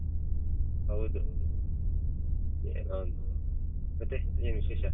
ಹೌದು ಏನೊ ಒಂದು ಮತ್ತೆ ಏನ್ ವಿಶೇಷ?